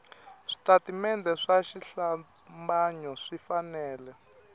switatimende swa xihlambanyo swi fanele